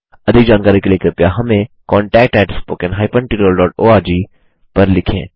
अधिक जानकारी के लिए कृपया हमें contactspoken हाइफेन tutorialओआरजी पर लिखें